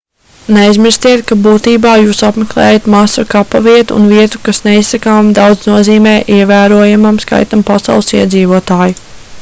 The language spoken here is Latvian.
neaizmirstiet ka būtībā jūs apmeklējat masu kapavietu un vietu kas neizsakāmi daudz nozīmē ievērojamam skaitam pasaules iedzīvotāju